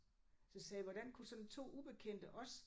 Så sagde jeg hvordan kunne sådan 2 ubekendte også